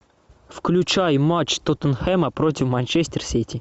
включай матч тоттенхэма против манчестер сити